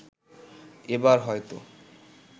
এবার হয়তো